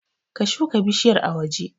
Ka shuka bishiyar a waje